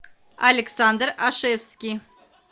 александр ашевский